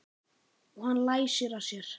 Og hann læsir að sér.